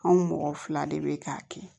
Anw mɔgɔ fila de be k'a kɛ